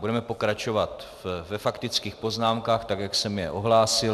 Budeme pokračovat ve faktických poznámkách tak, jak jsem je ohlásil.